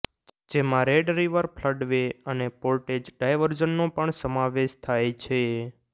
જેમાં Red River Floodway અને Portage ડાયવર્ઝનનો પણ સમાવેશ થાય છે